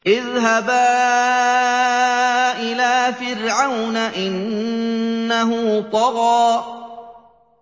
اذْهَبَا إِلَىٰ فِرْعَوْنَ إِنَّهُ طَغَىٰ